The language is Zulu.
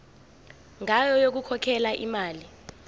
ngayo yokukhokhela imali